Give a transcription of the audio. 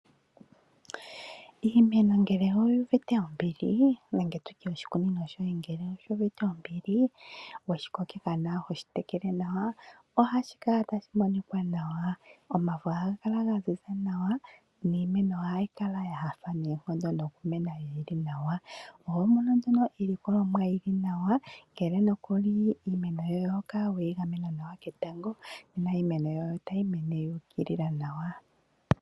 Iimeno ngele oyu uvite ombili nenge tu tye oshikunino shoye ngele oshi uvite ombili we shi kokitha nawa, ho shi tekele nawa, ohashi kala tashi monika nawa. Omafo ohaga kala ga ziza nawa niimeno ohayi kala ya nyanyukwa noonkondo nokumena yi li nawa. Oho mono iilikolomwa yi li nawa ngele nokuli iimeno yoye oho kala we yi gamena nawa ketango nena iimeno yoye otayi mene yu ukilila nawa.